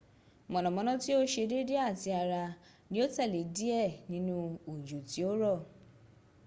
mọ̀nàmọ́ná tí ó ṣe dédé àti àrá ní ó tẹ̀lé díẹ̀ nínu òjò tí ó rọ̀